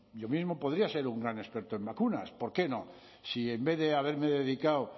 yo mismo podría ser un gran experto en vacunas por qué no si en vez de haberme dedicado